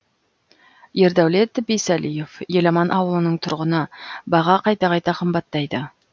ердәулет бейсалиев еламан ауылының тұрғыны баға қайта қайта қымбаттайды